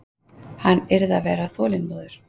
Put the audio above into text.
Hann yrði að vera þolinmóður.